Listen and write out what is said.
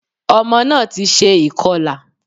Ọmọ náà ti se ìkọlà